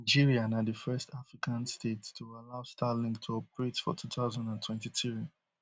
nigeria na di first african state to allow starlink to operate for two thousand and twenty-three